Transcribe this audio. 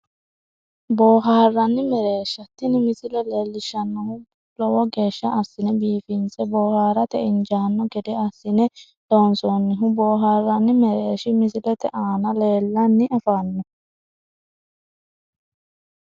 Boohaarranni mereersha tini misile leellishshannohu lowo geeshsha assine biifinse boohaarate injaanno gede assine loonsoonnihu boohaarranni mereershi misilete aana leellanni afanno